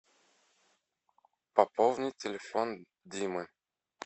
пополнить телефон димы